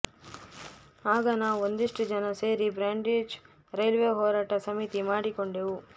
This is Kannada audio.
ಆಗ ನಾವು ಒಂದಿಷ್ಟು ಜನ ಸೇರಿ ಬ್ರಾಡ್ಗೇಜ್ ರೈಲ್ವೆ ಹೋರಾಟ ಸಮಿತಿ ಮಾಡಿಕೊಂಡೆವು